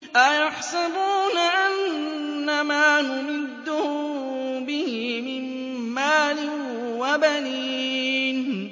أَيَحْسَبُونَ أَنَّمَا نُمِدُّهُم بِهِ مِن مَّالٍ وَبَنِينَ